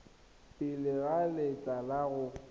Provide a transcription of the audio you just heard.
pele ga letlha la go